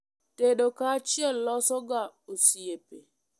Tedo kaachiel loso ga osiepe